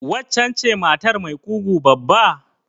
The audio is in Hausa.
Waccen ce matar mai ƙugu babba?